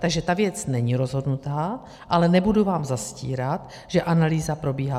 Takže ta věc není rozhodnutá, ale nebudu vám zastírat, že analýza probíhá.